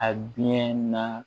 A biɲɛ nan